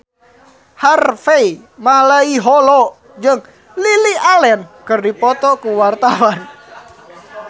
Harvey Malaiholo jeung Lily Allen keur dipoto ku wartawan